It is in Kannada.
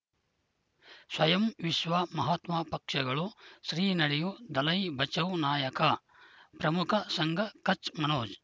ಸ್ವಯಂ ವಿಶ್ವ ಮಹಾತ್ಮ ಪಕ್ಷಗಳು ಶ್ರೀ ನಡೆಯೂ ದಲೈ ಬಚೌ ನಾಯಕ ಪ್ರಮುಖ ಸಂಘ ಕಚ್ ಮನೋಜ್